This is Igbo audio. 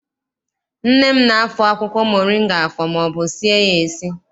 Nne m na- afọ akwụkwọ moringa afọ maọbụ sie ya esi.